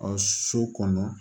A so kɔnɔ